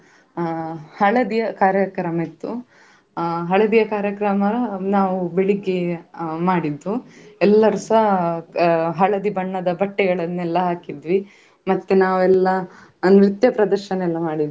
ಅದ್ರ ಚರಿತ್ರೆಯನ್ನೆಲ್ಲ ಹೇಳಿದ್ರು. ನಮಗೆ ಆ ಮತ್ತೇ ಆ ಎಲ್ಲಾ ಪ್ರಾಣಿಗಳಿಗೆ ಹಾಕುವ ಆ ತಿಂ~ ತಿಂಡಿ ಆಗಿರ್ಬೋದು ಅದ್ರಾ ದಿನ~ ದಿನಚರಿ ಹೇಗಿರ್ತದೆ ಅದು ಹೇಗೆ.